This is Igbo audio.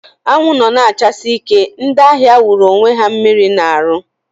Anwụ nọ na achasi ike, ndị ahịa wụrụ onwe ha mmiri na arụ